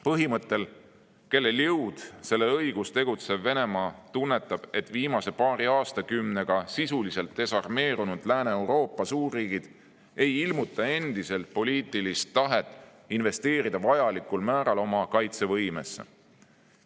Põhimõttel "Kellel jõud, sellel õigus" tegutsev Venemaa tunnetab, et viimase paari aastakümnega sisuliselt desarmeerunud Lääne-Euroopa suurriigid ei ilmuta endiselt poliitilist tahet investeerida vajalikul määral oma kaitsevõimesse.